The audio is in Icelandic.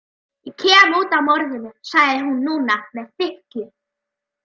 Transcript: Ég kem út af morðinu, sagði hún núna með þykkju.